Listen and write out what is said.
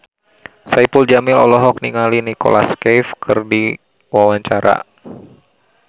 Saipul Jamil olohok ningali Nicholas Cafe keur diwawancara